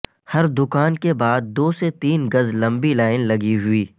ھر دکان کے بعد دو سے تین گز لمبی لائن لگی ھوئی